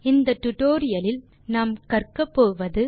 இந்த டுடோரியலின் முடிவில் செய்ய முடிவன